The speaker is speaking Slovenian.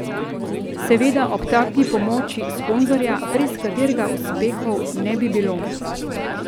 Seveda ob taki pomoči sponzorja, brez katerega uspehov ne bi bilo.